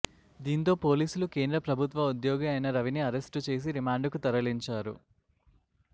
దీంతో పోలీసులు కేంద్ర ప్రభుత్వ ఉద్యోగి అయిన రవిని అరెస్టు చేసి రిమాండ్ కు తరలించారు